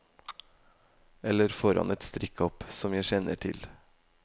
Eller foran et strikkhopp, som jeg kjenner til.